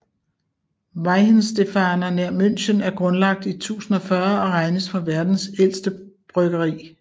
Weihenstephaner nær München er grundlagt i 1040 og regnes for verdens ældste bryggeri